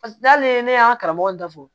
n'ale ne y'an ka karamɔgɔ in dafo